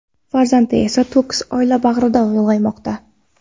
Farzandi esa to‘kis oila bag‘rida ulg‘aymoqda.